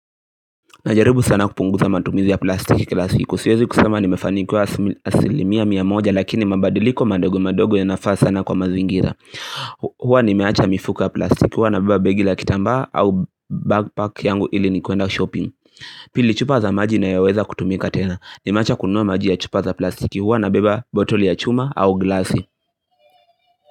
Najaribu sana kupunguza matumizi ya plastiki kila siku, siezi kusema nimefanikiwa asilimia mia moja lakini mabadiliko madogo madogo yanafaa sana kwa mazingira Huwa nimeacha mifuko ya plastiki, huwa nabeba begi la kitambaa au bagpack yangu ili nikienda shopping Pili, chupa za maji inayoweza kutumika tena, nimeacha kununua maji ya chupa za plastiki, huwa nabeba botoli ya chuma au glasi.